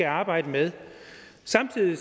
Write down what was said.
og arbejde med samtidig